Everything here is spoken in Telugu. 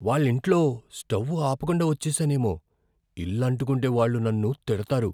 వాళ్ళ ఇంట్లో స్టౌ ఆపకుండా వచ్చేసానేమో. ఇల్లు అంటుకుంటే వాళ్ళు నన్ను తిడతారు.